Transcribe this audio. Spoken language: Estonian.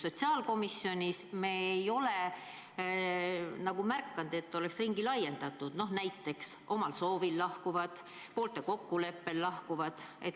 Sotsiaalkomisjonis me ei ole märganud, et oleks ringi laiendatud, näiteks omal soovil lahkuvad, poolte kokkuleppel lahkuvad.